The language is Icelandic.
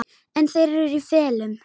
En þeir eru í felum!